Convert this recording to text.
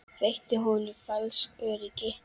Veitti hún honum falskt öryggi?